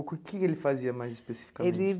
O que ele fazia mais especificamente? Ele